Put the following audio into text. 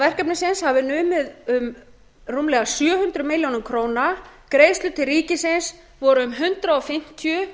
verkefnisins hafi numið um rúmlega sjö hundruð milljóna króna beinar greiðslur til ríkisins voru um hundrað fimmtíu